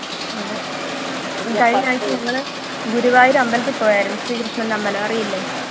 അതെ കഴിഞ്ഞാഴ്ച ഞങ്ങള് ഗുരുവായൂര് അമ്പലത്തിൽ പോയായിരുന്നു ശ്രീകൃഷ്ണൻ്റെ അമ്പലം അറിയില്ലേ